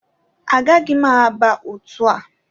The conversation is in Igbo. Agaghị m aba otu a